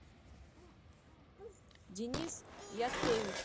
денис яцкевич